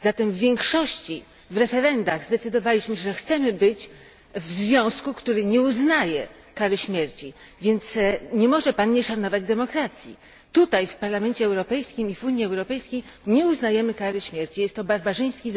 W większości w referendach zdecydowaliśmy, że chcemy należeć do związku państw, który nie uznaje kary śmierci, więc nie może Pan nie szanować demokracji. Tutaj, w Parlamencie Europejskim i w Unii Europejskiej, nie uznajemy kary śmierci, jest to obyczaj barbarzyński.